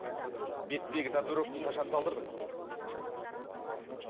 беттегі татуировканы қашан салдырдың